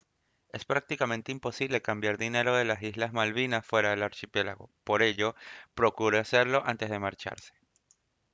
es prácticamente imposible cambiar dinero de las islas malvinas fuera del archipiélago por ello procure hacerlo antes de marcharse